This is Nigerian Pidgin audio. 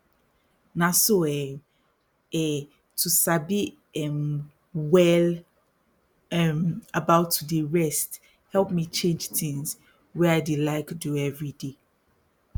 na so um eh to sabi erm well um about to dey rest help me change tins wey i dey like do everyday